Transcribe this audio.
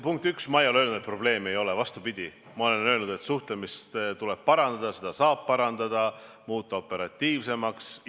Punkt üks, ma ei ole öelnud, et probleemi ei ole, vastupidi, ma olen öelnud, et suhtlemist tuleb parandada, seda saab parandada ja muuta operatiivsemaks.